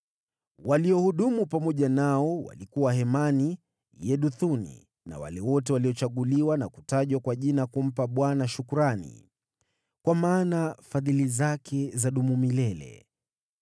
Waliohudumu pamoja nao walikuwa Hemani, Yeduthuni na wale wote waliochaguliwa na kutajwa kwa jina kumpa Bwana shukrani, “Kwa maana fadhili zake zadumu milele.”